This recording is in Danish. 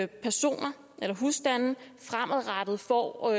personer eller husstande fremadrettet får